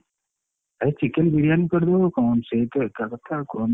ଆରେ chicken biryani କରଦବୁ କଣ ସେଇତ ଏକା କଥା ଆଉ କଣ।